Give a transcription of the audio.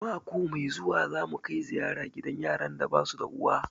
Mako mai zuwa za mu kai ziyara gidan yaran da basu da uwa